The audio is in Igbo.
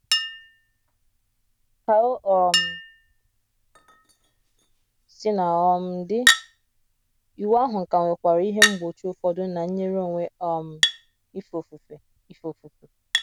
Ka o um sina um dị, iwu ahụ ka nwekwara ihe mgbochi ụfọdụ ná nyere onwe um ife ofufe. ife ofufe.